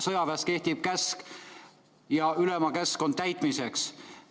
Sõjaväes kehtib käsk ja ülema käsk on täitmiseks.